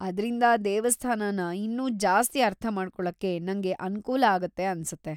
ಅದ್ರಿಂದ ದೇವಸ್ಥಾನನ ಇನ್ನೂ ಜಾಸ್ತಿ‌ ಅರ್ಥಮಾಡ್ಕೊಳಕ್ಕೆ ನಂಗ್ ಅನುಕೂಲ ಆಗತ್ತೆ ಅನ್ಸತ್ತೆ.